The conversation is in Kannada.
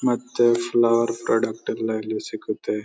ಮತ್ತೆ ಕೆಲವರ್ ಪ್ರಾಡಕ್ಟ್ ಎಲ್ಲ ಇಲ್ಲಿ ಸಿಗುತ್ತೆ.